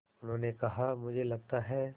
उन्होंने कहा मुझे लगता है